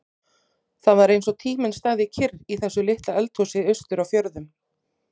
Það var eins og tíminn stæði kyrr í þessu litla eldhúsi austur á fjörðum.